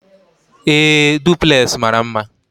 Ee, Duplex mara mma